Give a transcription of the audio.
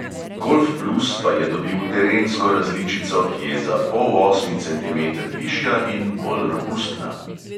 Golf plus pa je dobil terensko različico, ki je za polosmi centimeter višja in bolj robustna.